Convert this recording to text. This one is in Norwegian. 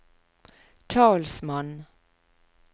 talsmann